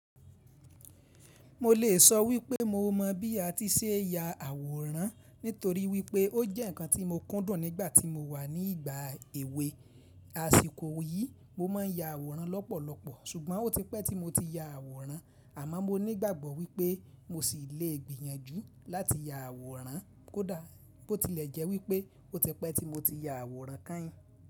Mo lè sọ wípé mo mọ̀ bí a ti ṣe é ya àwòrán nítorí wípé ó jẹ́ ǹkan tí mo kúndùn nígbà tí mo wà ní ìgbà èwe. Aṣìkò yìí mo máà ń ya àwòrán lọ́pọ̀lọpọ̀, ṣùgbọ́n ó ti pẹ́ tí mo ti ya àwòrán, àmọ́ mo ní ìgbàgbọ́ wípé mo sì lè gbìyànjú láti ya àwòrán kódà bó tilẹ̀ jẹ́ wípé ó ti pẹ́ tí mo ti ya àwòrán káin.